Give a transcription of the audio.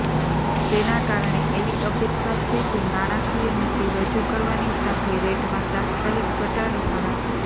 તેના કારણે એવી અપેક્ષા છે કે નાણાકીય નીતિ રજૂ કરવાની સાથે રેટમાં તાત્કાલિક ઘટાડો કરાશે